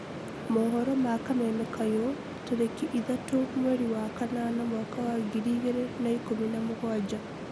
Mohoro ma kameme kayũ, tarĩki ithatu mweri wa kanana mwaka wa ngiri igĩrĩ na ikũmi na mũgwanja